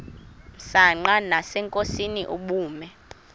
msanqa nasenkosini ubume